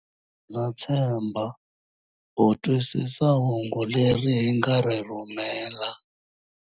Ndza tshemba u twisisa hungu leri hi nga ri rhumela.